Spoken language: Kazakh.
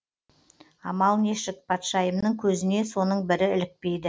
амал нешік патшайымның көзіне соның бірі ілікпейді